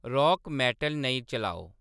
rock metal नेईं चलाओ